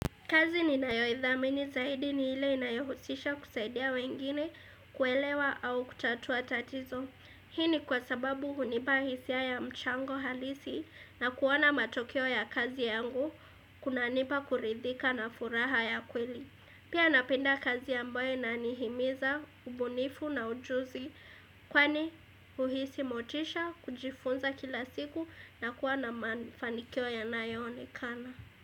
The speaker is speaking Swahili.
Kazi ni nayoithamini zaidi ni ile inayohusisha kusaidia wengine kuelewa au kutatua tatizo. Hii ni kwa sababu hunipa hisia ya mchango halisi na kuona matokeo ya kazi yangu kunanipa kuridhika na furaha ya kweli. Pia napenda kazi ambayo inanihimiza, ubunifu na ujuzi kwani uhisi motisha, kujifunza kila siku na kuwa na manifanikio yanayo onekana.